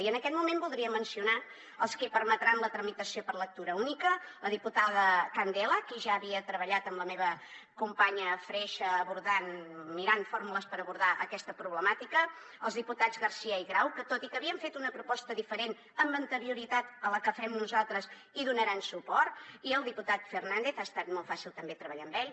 i en aquest moment voldria mencionar els qui en permetran la tramitació per lectura única la diputada candela que ja havia treballat amb la meva companya freixa mirant fórmules per abordar aquesta problemàtica els diputats garcía i grau que tot i que havien fet una proposta diferent amb anterioritat a la que fem nosaltres hi donaran suport i el diputat fernàndez ha estat molt fàcil també treballar amb ell